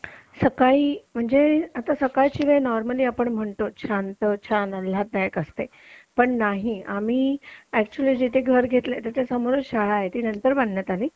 सकाळी म्हणजे आता सकाळची वेळ आपण नॉर्मली म्हणतो छान आल्हाददायक असते पण नाही आम्ही ऍक्च्युली जिथे घर घेतले त्याच्या समोर शाळा आहे ती नंतर बांधण्यात आली